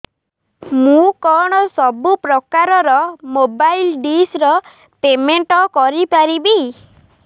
ମୁ କଣ ସବୁ ପ୍ରକାର ର ମୋବାଇଲ୍ ଡିସ୍ ର ପେମେଣ୍ଟ କରି ପାରିବି